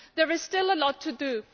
There is still a lot to do.